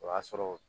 O y'a sɔrɔ